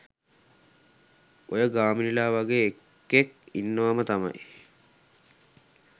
ඔය ගාමිනිලා වගේ එකෙක් ඉන්නවම තමයි